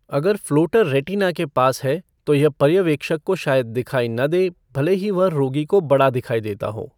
अगर floater retina के पास है, तो यह पर्यवेक्षक को शायद दिखाई न दे, भले ही वह रोगी को बड़ा दिखाई देता हो।